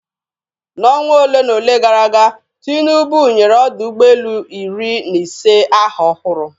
N'ọnwa ole na ole gara aga, Tinubu nyere ọdọ ụgbọelu iri na ise aha ọhụrụ.